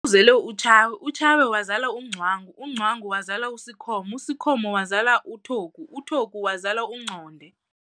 uzele uTshawe wazala uNgcwangu, uNgcwangu wazala uSikhomo, uSikhomo wazala uTogu, uTogu wazala uNgconde.